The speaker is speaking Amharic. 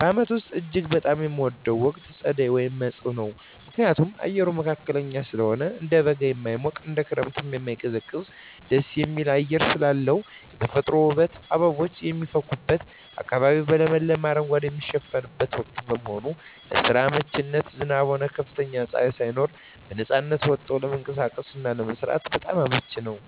በዓመቱ ውስጥ እጅግ በጣም የምወደው ወቅት ጸደይ (መጸው) ነው። ምክንያቱም፦ አየሩ መካከለኛ ስለሆነ፦ እንደ በጋ የማይሞቅ፣ እንደ ክረምትም የማይቀዘቅዝ ደስ የሚል አየር ስላለው። የተፈጥሮ ውበት፦ አበቦች የሚፈኩበትና አካባቢው በለመለመ አረንጓዴ የሚሸፈንበት ወቅት በመሆኑ። ለስራ አመቺነት፦ ዝናብም ሆነ ከፍተኛ ፀሐይ ሳይኖር በነፃነት ወጥቶ ለመንቀሳቀስና ለመስራት በጣም አመቺ ነው።